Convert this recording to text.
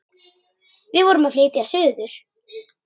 Við vorum að flytja suður.